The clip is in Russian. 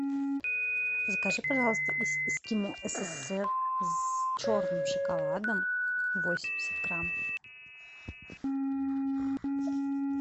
закажи пожалуйста эскимо ссср с черным шоколадом восемьдесят грамм